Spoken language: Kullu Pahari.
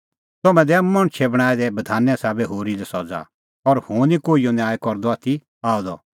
तम्हैं दैआ मणछे बणांऐं दै बधाने साबै होरी लै सज़ा और हुंह निं कोहिओ न्याय करदअ आथी आअ द